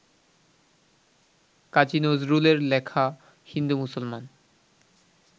কাজী নজরুলের লেখা হিন্দু-মুসলমান